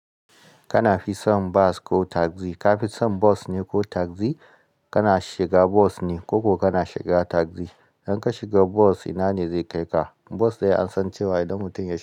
Kana fi son bas ko tagzi? Ka fi son bas ne ko tagzi? Kana shiga bus ne koko kana shiga taxi? Idan ka shiga bus, ina ne zai kai ka? Bas dai an san cewa idan mutum ya shiga.